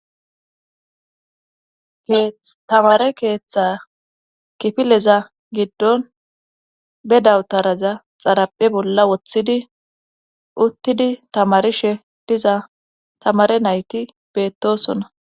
Tamare keeththa kifileza giddon be dawutaraza xaraphe bolla woththidi uttidi tamarishe diza tamare nayki beettosona